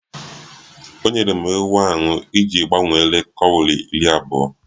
O nyere m ewu ahụ iji gbanwere kọwri iri abụọ